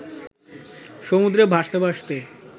সমুদ্রে ভাসতে ভাসতে